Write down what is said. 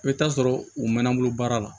I bɛ taa sɔrɔ u mɛnna n bolo baara la